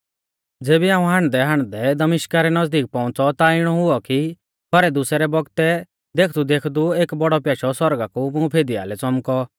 ज़ेबी हाऊं हांडदैहांडदै दमिश्का रै नज़दीक पौउंच़ौ ता इणौ हुऔ कि खौरै दुसै रै बौगतै देखदेखदु एक बौड़ौ प्याशौ सौरगा कु मुं फिदिआलै च़ौमकौ